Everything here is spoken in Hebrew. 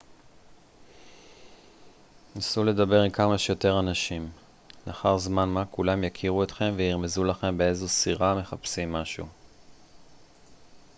נסו לדבר עם כמה שיותר אנשים לאחר זמן מה כולם יכירו אתכם וירמזו לכם באיזו סירה מחפשים מישהו